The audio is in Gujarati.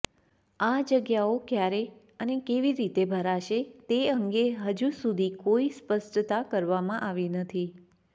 આ જગ્યાઓ કયારે અને કેવી રીતે ભરાશે તે અંગે હજુસુધી કોઇ સ્પષ્ટતા કરવામાં આવી નથી